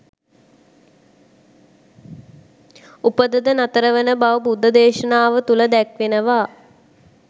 උපත ද නතර වන බව බුද්ධ දේශනාව තුල දැක්වෙනවා.